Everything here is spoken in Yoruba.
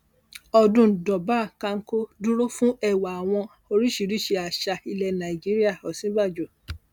ọdún durbar kánkó dúró fún ẹwà àwọn oríṣìíríṣìí àṣà ilẹ nàíjíríà òsínbàjò